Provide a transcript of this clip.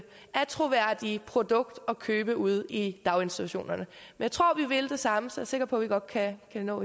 attråværdige produkt at købe ude i daginstitutionerne jeg tror vi vil det samme så jeg er sikker på at vi godt kan nå